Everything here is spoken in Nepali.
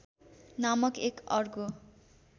नामक एक अर्को